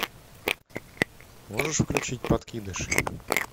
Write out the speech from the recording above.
можешь включить подкидыш